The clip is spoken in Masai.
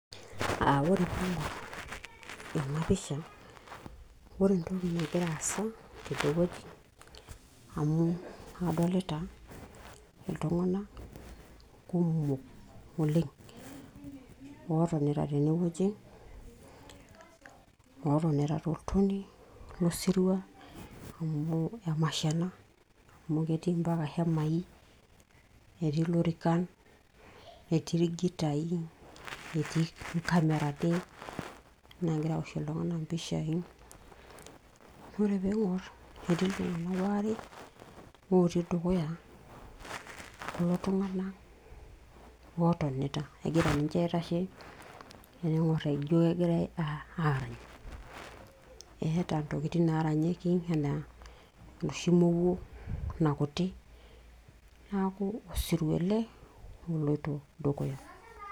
Aa ore taa ena pisha ore entoki nagira aasa amu adolita iltung'anak kumok oleng' ootonita tene wueji, ootonita toltonei lo sirua amu emasho ena amu keti mpaka hemai, netii ilorikan, netii irkitai, netii nkamerani naagira awoshie iltung'anak mpishai. Ore piing'or ei iltung'anak waare otii dukuya lelo tung'anak otonita egira ninje aitashe ening'or ijo kegira aarany . Eeta ntokitin naaranyieki enaa eeta enoshi mowou nakuti, neeku osirua ele oloito dukuya.